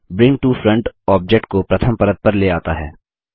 bring to front object को प्रथम परत पर ले आता है